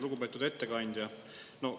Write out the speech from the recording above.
Lugupeetud ettekandja!